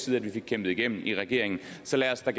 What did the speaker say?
vi fik kæmpet igennem i regeringen så lad os da